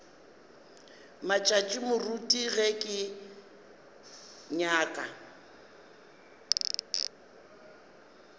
matšatši moruti ge ke nyaka